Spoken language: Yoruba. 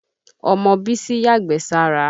Ọmọ Bísí yàgbẹ́ sára.